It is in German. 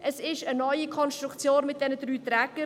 Es ist eine neue Konstellation mit den drei Trägern.